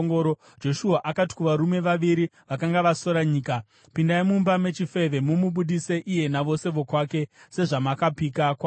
Joshua akati kuvarume vaviri vakanga vasora nyika, “Pindai mumba mechifeve mumubudise iye navose vokwake, sezvamakapika kwaari.”